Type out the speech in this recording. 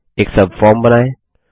एक सबफॉर्म बनाएँ